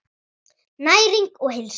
Næring og heilsa.